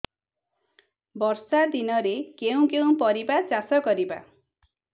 ବର୍ଷା ଦିନରେ କେଉଁ କେଉଁ ପରିବା ଚାଷ କରିବା